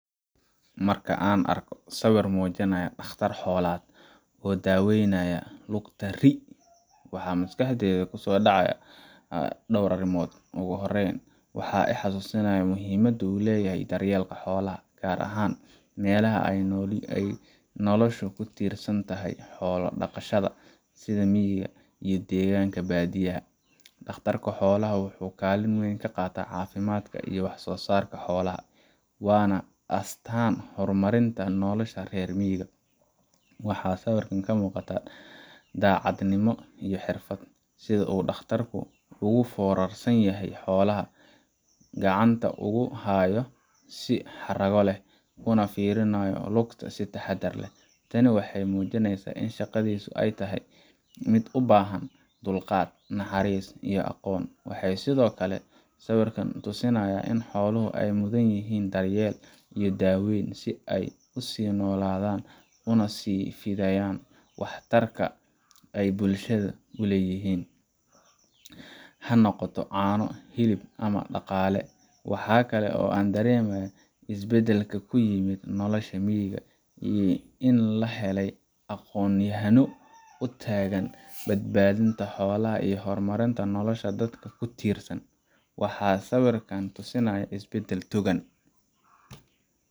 Markan an argo siwir mujiryoh taqarar hoolad, oo dawaynayo lugta rii waxaa maskaxdayda ku sodacaaya door arimood ogu horan, waxaa ii xasusanayah muhiimada u layahay daryalka hoolaha, gar ahan mal haa aya nolosha ku tirsantahay, hoola daqasha sidee meyka iyo danganka badiyaha, taqtarka hoola ah wuxuu galin muhiima ka qatah qaatan cafimdka iyo wax sosarka hoolaha wana istan hormarin nolosha reer meyka, waxaa siwirkan ka muqatah dacad nimo iyoh xirfad sida uu taqtarka ugu forarsayahay hoolaha, gacanta ogu hayoo sii xagraliah kuna firinayoh lugta sii taharar ah, tani waxay mujinaysah ina shaqadiso aya tahay mid ubahan dulqad naxatis aqon wax sidee okle siwirkan tusinaya ina hooluho ay mudanyihin daryal iyo dawan sii ay u sii noladan una sii faidayan wax targa ay bulashada ku layihin, hadii ay noqtoh cano hilab ama daqali waxkle oo ah an darimayah is baadalka ku imad noloshad meyka in laa hela aqon yahalo utagan badbadinta hoolah iyoh hormarinta nolosha dadka ku tirsan waxaa siwirkan tusinyah isbadal dugan.